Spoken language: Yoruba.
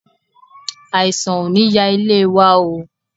Àìsàn ò ní ya ilé wa oo.